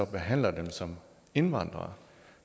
behandler dem som indvandrere